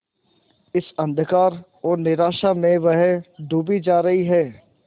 इस अंधकार और निराशा में वह डूबी जा रही है